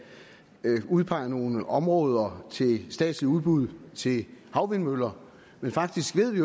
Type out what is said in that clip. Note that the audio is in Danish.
udpege nogle områder til statsligt udbud til havvindmøller men faktisk ved vi